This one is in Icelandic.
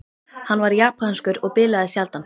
Hann var japanskur og bilaði sjaldan.